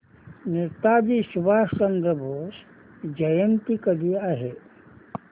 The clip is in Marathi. नेताजी सुभाषचंद्र बोस जयंती कधी आहे